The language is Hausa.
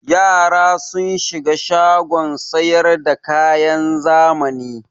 Yara sun shiga shagon sayar da kayan zamani.